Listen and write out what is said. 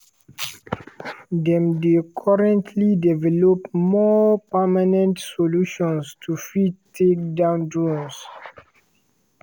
dem dey currently develop more permanent solutions to fit take down drones.